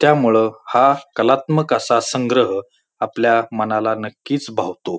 त्यामुळ हा कलात्मक असा संग्रह आपल्या मनाला नक्कीच भावतो.